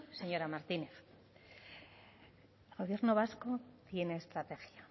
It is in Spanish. señora martínez el gobierno vasco tiene estrategia